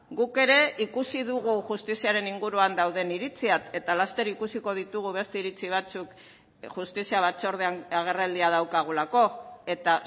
guk ere ikusi dugu justiziaren inguruan dauden iritziak eta laster ikusiko ditugu beste iritzi batzuk justizia batzordean agerraldia daukagulako eta